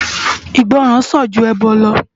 Igbòrán sán jú èbò lò